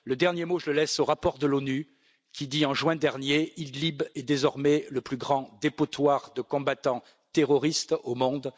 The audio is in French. Je laisse le dernier mot au rapport de l'ONU qui disait, en juin dernier Idlib est désormais le plus grand dépotoir de combattants terroristes au monde.